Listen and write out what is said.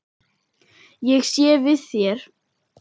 Ég sé við þér.